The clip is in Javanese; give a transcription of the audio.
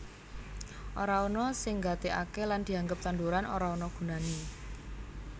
Ora ana sing nggatekake lan dianggep tanduran ora ana gunane